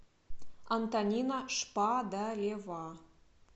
антонина шпадарева